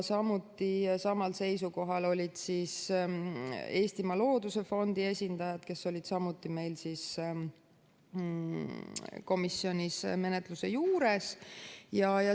Samal seisukohal olid Eestimaa Looduse Fondi esindajad, kes olid samuti meil komisjonis menetluse juures.